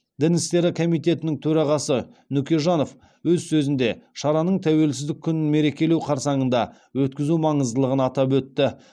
дін істері комитетінің төрағасы нүкежанов өз сөзінде шараның тәуелсіздік күнін мерекелеу қарсаңында өткізу маңыздылығын атап өтті